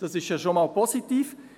Das ist ja schon einmal positiv.